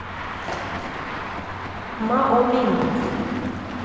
маомин